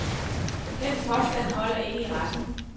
Den påstand holder ikke i retten.